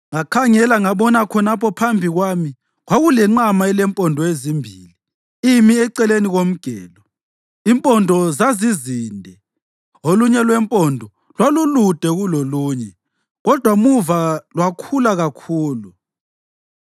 Ngakhangela, ngabona khonapho phambi kwami kwakulenqama elempondo ezimbili imi eceleni komgelo, impondo zazizinde. Olunye lwempondo lwalulude kulolunye kodwa muva lwakhula kakhulu.